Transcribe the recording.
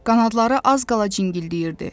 Qanadları az qala cingildəyirdi.